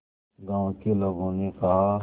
गांव के लोगों ने कहा